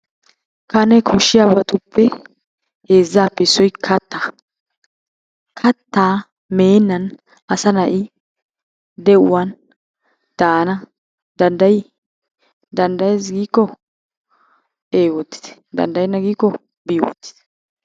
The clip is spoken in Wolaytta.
Kane koshiyaabatuppe heezaappe issoy kattaa. Kataa meenan asa na'i de'uwan daana danddayii? dandayees giikko ee wotitte dandayenna giikko bii wotitte.